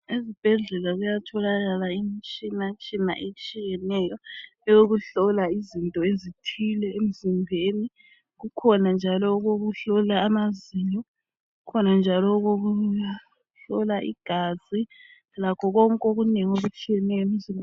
Ezibhedlela kuyatholakala imitshina tshina etshiyeneyo eyokuhlola izinto ezithile emzimbeni. Kukhona njalo okokuhlola amazinyo, kukhona njalo okokuhlola igazi lakho konke okunengi okutshiyeneyo emzimbeni.